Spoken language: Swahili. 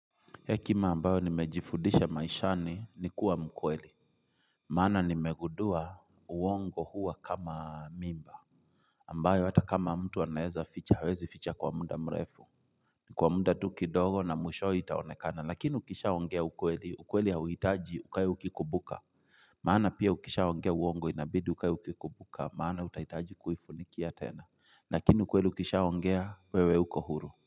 Hekima ambayo nimejifundisha maishani ni kuwa mkweli. Maana nimegundua uongo huwa kama mimba. Ambayo hata kama mtu anaeza ficha, hawezi ficha kwa muda mrefu. Kwa muda tu kidogo na mwishowe itaonekana, lakini ukishaongea ukweli, ukweli hauhitaji ukae ukikumbuka. Maana pia ukishaongea uongo inabidi ukae ukikumbuka, maana utahitaji kuifunikia tena, lakini ukweli ukishaongea wewe uko huru.